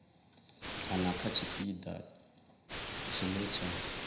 kana kha tshipiḓa tshine tsha